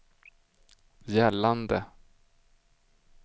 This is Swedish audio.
gällande